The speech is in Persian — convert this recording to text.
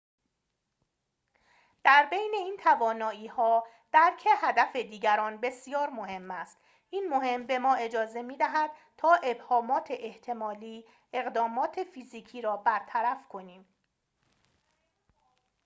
در بین این توانایی‌ها درک هدف دیگران بسیار مهم است این مهم به ما اجازه می‌دهد تا ابهامات احتمالی اقدامات فیزیکی را برطرف کنیم